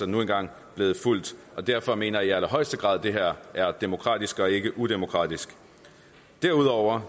nu engang blevet fulgt og derfor mener jeg i allerhøjeste grad at det her er demokratisk og ikke udemokratisk derudover